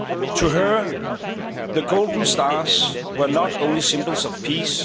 To her, the golden stars were not only symbols of peace